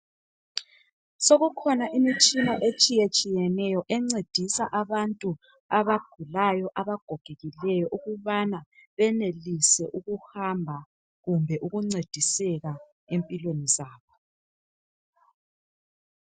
Sokukhona imitshina etshiye tshiyeneyo encedisa abantu abagulayo abagogekileyo ukubana benelise ukuhamba kumbe ukuncediseka empilweni zabo.